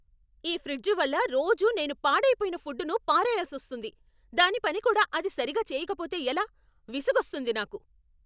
ఈ ఫ్రిడ్జు వల్ల రోజూ నేను పాడైపోయిన ఫుడ్డుని పారేయాల్సొస్తోంది. దాని పని కూడా అది సరిగా చేయకపోతే ఎలా.. విసుగొస్తుంది నాకు!